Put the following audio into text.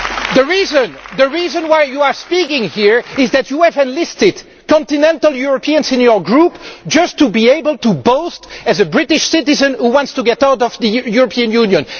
The reason why you are speaking here is that you have enlisted continental Europeans into your group just to be able to boast as a British citizen who wants to get out of the European Union.